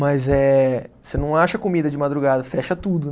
Mas eh, você não acha comida de madrugada, fecha tudo